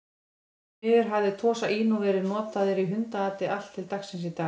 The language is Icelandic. Því miður hafa Tosa Inu verið notaðir í hundaati allt til dagsins í dag.